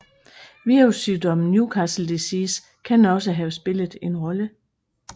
Virussygdommen Newcastle disease kan også have spillet en rolle